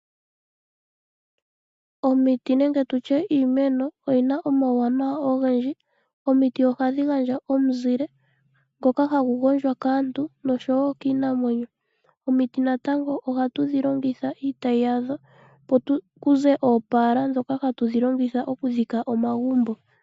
Omiti nenge iimeno oyi na omauwanawa ogendji. Ohadhi gandja omizile dhoka hadhi gondjwa kaantu noshowo kiinamwenyo. Omiti natango ohatu dhi longitha iitayi yadho okuninga oopala dhoka hatu longitha okudhika omagumbo.